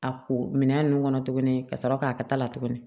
A ko minɛn nunnu kɔnɔ tuguni ka sɔrɔ k'a kɛ ta la tuguni